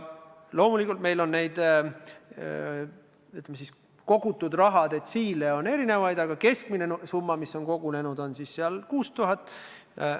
Loomulikult on meil kogutud raha detsiile erinevaid, aga keskmine summa, mis on kogunenud, on umbes 6000 eurot.